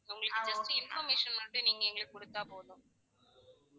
உங்களுக்கு வந்து just information மட்டும் நீங்க எங்களுக்கு கொடுத்தா போதும்